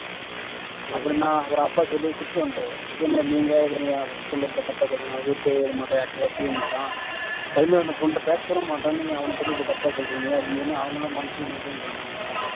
அப்புறம் நான் அப்பா சொல்லி திட்டிட்டு வந்துட்டாரு இதே மாதிரி நீங்க இதே மாதிரி பிள்ளை பத்தி தப்பா சொல்றீங்க அவன் வீட்டை விட்டே வரமாட்டான் யார்கிட்டயும் வச்சிக்க மாட்டான் தனிமையில அந்த பொண்ணு கிட்ட பேசக்கூட மாட்டான் நீங்க அவன பத்தி இப்படி தப்பா சொல்றீங்க அப்படின்னு அவங்களும் மன்னிச்சுக்கோங்க மன்னிச்சுக்கோங்க ன்னு சொல்லிட்டாங்க அவங்க